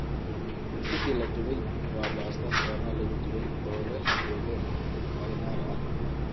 Ziti la dubay waa baastada foornada lagu dubay oo leh suugo marinara ah.